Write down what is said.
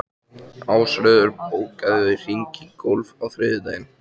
Ásröður, bókaðu hring í golf á þriðjudaginn.